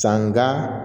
Sanga